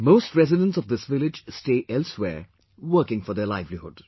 Most residents of this village stay elsewhere working for their livelihood